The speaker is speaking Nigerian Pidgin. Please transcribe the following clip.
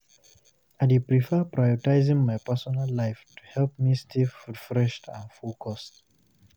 I dey prefer prioritizing my personal life to help me stay refreshed and focused.